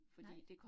Nej